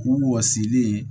K'u wɔsilen ye